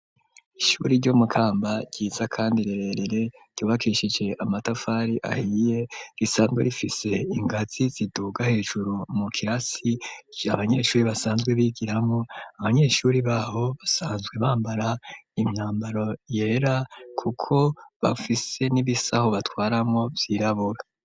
Ishuri ryo mukamba ryiza kandi rererere ryubakishije amatafari ahiye risanzwe rifise ingazi ziduga hejuru mu kirasi ,abanyeshuri basanzwe bigiramo abanyeshuri babo basanzwe bambara imyambaro yera kuko bafise n'ibisaho batwaramo vyirabura.